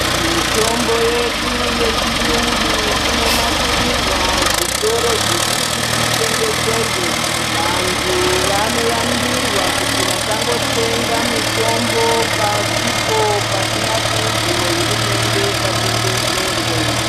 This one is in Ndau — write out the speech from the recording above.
Mitombo yedu yechiungu inonasirirwa zvitoro zvekuti itengeserwe vantu vanoyambirwa kuti vasangotenga mitombo pasipo pakanzi nehurumende patengeserwe.